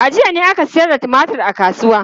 A jiya ne aka sayar da tumatur a kasuwa.